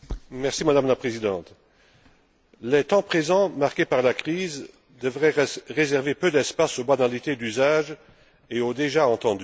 Madame la Présidente, les temps présents, marqués par la crise, devraient réserver peu d'espace aux modalités d'usage et au déjà entendu.